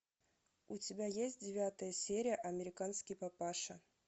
у тебя есть девятая серия американский папаша